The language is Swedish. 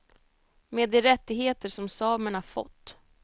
Med de rättigheter som samerna fått.